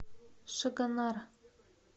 шагонар